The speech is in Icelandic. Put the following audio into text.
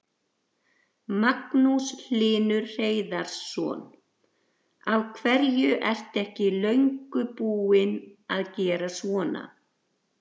Magnús Hlynur Hreiðarsson: Af hverju er ekki löngu búið að gera svona?